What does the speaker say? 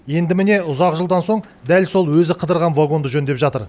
енді міне ұзақ жылдан соң дәл сол өзі қыдырған вагонды жөндеп жатыр